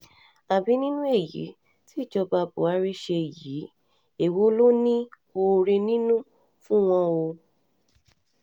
àbí nínú èyí tí ìjọba buhari ṣe yìí èwo ló ní oore nínú fún wọn o